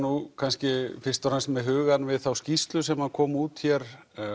kannski fyrst og fremst með hugann við þá skýrslu sem kom út hér